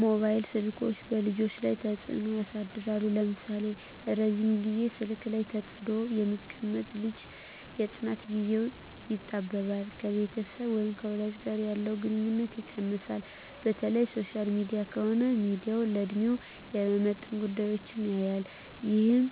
መባይል ስልኮች በልጆች ላይ ተጽኖ ያሳድራል ለምሳሌ:- ረጅም ግዜ ስልክ ላይ ተጥዶ የሚቀመጥ ልጅ የጥናት ግዜው ይጣበባል፣ ከቤተሰብ ወይም ከወላጅ ጋር ያለው ግንኙነት ይቀንሳል፣ በተለይ ሶሻል ሚዲያ ከሆነ ሚያየው ለድሜው የማይመጥን ጉዳዮች ያያል ይህም